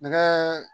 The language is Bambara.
Nɛgɛ